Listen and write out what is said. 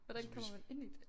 Hvordan kommer man ind i det?